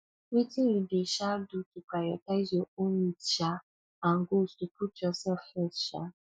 wetin you dey um do to prioritize your own needs um and goals you dey put yourself first um